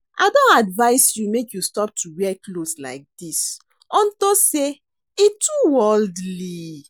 I don advice you make you stop to dey wear cloths like dis unto say e too worldly